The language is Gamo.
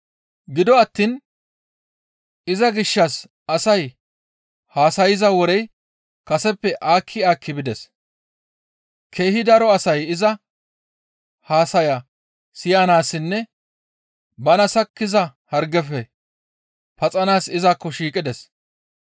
Gido attiin iza gishshas asay haasayza worey kaseppe aakki aakki bides; keehi daro asay iza haasaya siyanaassinne bana sakkiza hargefe paxanaas izakko shiiqides.